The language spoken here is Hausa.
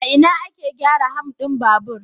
A ina ake gyara ham din babur?